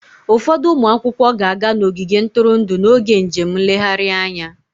Ụfọdụ ụmụ akwụkwọ ga-aga n'ogige ntụrụndụ n'oge njem nlegharị anya